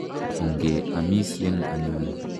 Onge amisyen anyun .